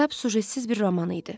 Kitab sujetsiz bir roman idi.